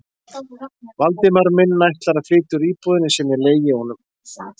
Valdimar minn ætlar að flytja úr íbúðinni sem ég leigi honum?